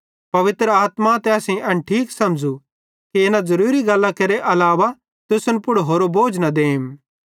पवित्र आत्मा ते असेईं एन ठीक समझ़ू कि इना ज़ुरूरी गल्लां केरे अलावा तुसन पुड़ होरो बोझ न देम